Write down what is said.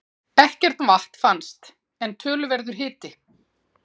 Ekkert vatn fannst, en töluverður hiti.